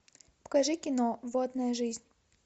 покажи кино водная жизнь